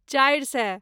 चारि सए